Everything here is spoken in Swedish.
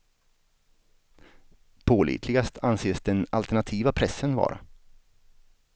Pålitligast anses den alternativa pressen vara.